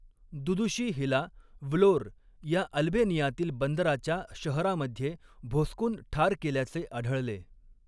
दुदुशी Hila Vlore या अल्बेनियातील बांद्राच्या शहरामध्ये भोसकून ठार केल्याचे आढळले.